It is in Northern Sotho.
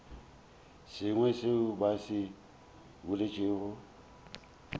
sengwe seo ba se boletšego